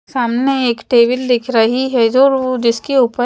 सामने एक टेबिल दिख रही है जो और जिसके ऊपर--